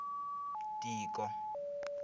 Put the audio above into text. tiko